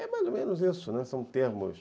É mais ou menos isso, né, são termos.